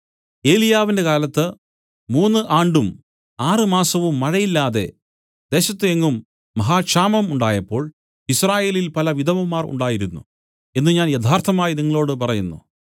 ഏലിയാവിന്റെ കാലത്ത് മൂന്നു ആണ്ടും ആറ് മാസവും മഴയില്ലാതെ ദേശത്തു എങ്ങും മഹാക്ഷാമം ഉണ്ടായപ്പോൾ യിസ്രായേലിൽ പല വിധവമാർ ഉണ്ടായിരുന്നു എന്നു ഞാൻ യഥാർത്ഥമായി നിങ്ങളോടു പറയുന്നു